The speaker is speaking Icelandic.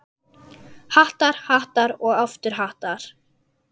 Hattar, hattar og aftur hattar.